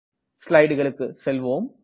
ஸ்லைடுகளுக்கு செல்வோம்